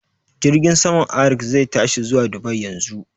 Jirgin saman Arik zai tashi zuwa Dubai yanzu